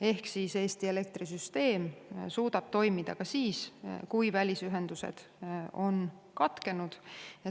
Ehk siis Eesti elektrisüsteem suudab toimida ka juhul, kui välisühendused on katkenud.